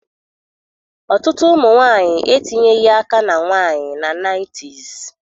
Ọtụtụ ụmụ nwanyị etinyeghị aka na nwanyị na 90s